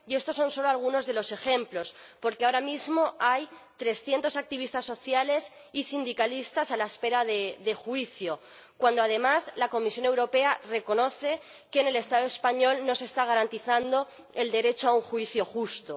y estos son solo algunos de los ejemplos, porque ahora mismo hay trescientos activistas sociales y sindicalistas a la espera de juicio, cuando, además, la Comisión Europea reconoce que en el Estado español no se está garantizando el derecho a un juicio justo.